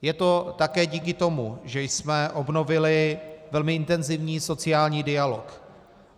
Je to také díky tomu, že jsme obnovili velmi intenzivní sociální dialog.